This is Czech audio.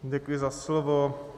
Děkuji za slovo.